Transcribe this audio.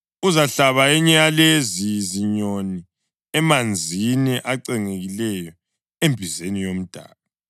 Uzahlaba enye yalezi zinyoni emanzini acengekileyo embizeni yomdaka.